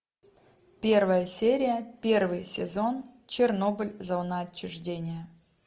первая серия первый сезон чернобыль зона отчуждения